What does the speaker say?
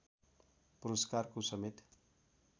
पुरस्कारको समेत